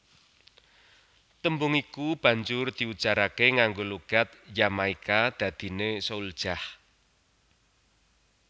Tembung iku banjur diujaraké nganggo logat Jamaika dadiné souljah